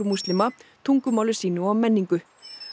múslima tungumáli sínu og menningu